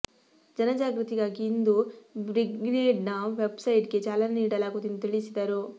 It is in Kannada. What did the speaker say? ಜನ ಜಾಗೃತಿಗಾಗಿ ಇಂದು ಬ್ರಿಗೇಡ್ನ ವೆಬ್ಸೈಟ್ಗೆ ಚಾಲನೆ ನೀಡಲಾಗುವುದು ಎಂದು ತಿಳಿಸಿದರು